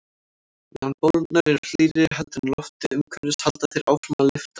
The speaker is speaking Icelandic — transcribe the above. Meðan bólurnar eru hlýrri heldur en loftið umhverfis halda þær áfram að lyftast.